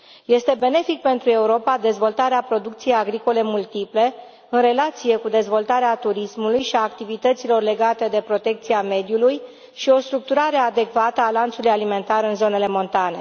Este benefică pentru Europa dezvoltarea producției agricole multiple, în relație cu dezvoltarea turismului și a activităților legate de protecția mediului și o structurare adecvată a lanțului alimentar în zonele montane.